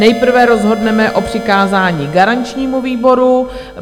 Nejprve rozhodneme o přikázání garančnímu výboru.